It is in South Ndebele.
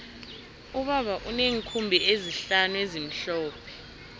ubaba uneenkhumbi ezihlanu ezimhlophe